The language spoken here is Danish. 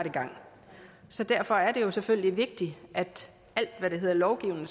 i gang så derfor er det selvfølgelig vigtigt at alt hvad der hedder lovgivning